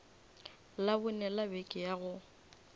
labone la beke ya go